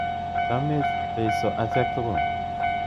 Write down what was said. Chamech Jeiso achek tukul.